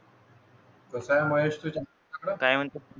सागा महेश तुम्ही. काय म्हणता?